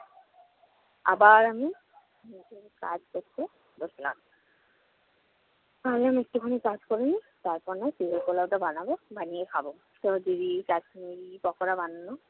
আবার আমি কাজ করতে বসলাম। ভাবলাম একটুখানি কাজ করে নিই, তারপর না হয় চিংড়ি-পোলাওটা বানাব। বানিয়ে খাবো। কাশ্মীরি পাকোড়া বানানো